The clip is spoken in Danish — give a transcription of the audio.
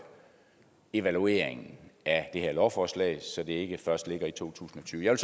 evalueringen af det her lovforslag så den ikke først ligger i to tusind og tyve jeg